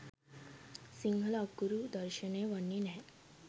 සිංහල අකුරු දර්ශණය වන්නේ නැහැ.